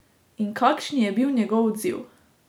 In kakšni je bil njegov odziv?